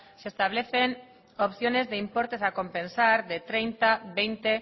se establecen opciones de importes a compensar de treinta veinte